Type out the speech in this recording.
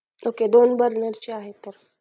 okay दोन burner चे आहेत तर